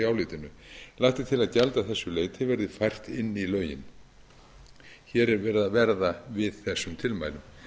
álitinu lagt er til að gjald að þessu leyti verði fært inn í lögin hér er verið að verða við þessum tilmælum virðulegi